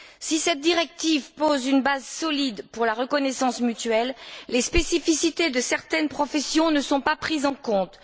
Si cette directive pose une base solide pour la reconnaissance mutuelle, les spécificités de certaines professions ne sont pas prises en compte.